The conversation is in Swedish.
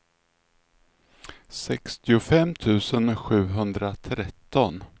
sextiofem tusen sjuhundratretton